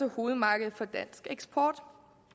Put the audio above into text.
hovedmarkedet for dansk eksport